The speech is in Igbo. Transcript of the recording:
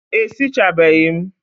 E sichabeghi m?